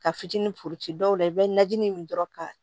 Ka fitinin foli ci dɔw la i bɛ najinin min dɔrɔn ka